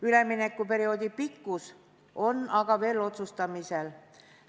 Üleminekuperioodi pikkus on aga veel otsustamisel.